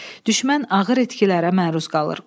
Düşmən ağır itkilərə məruz qalır.